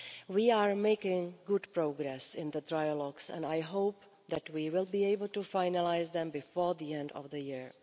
We are making good progress in the trilogues and I hope that we will be able to finalise them before the end of the year.